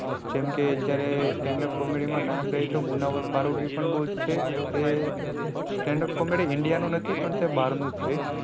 જેમ કે અત્યારે stand up comedy માં નામ લઈએ તો મુનાવર ફારુકી તો પણ બહુ જ છે. એ stand up comedy india નું નથી પણ તે બહાર નું છે.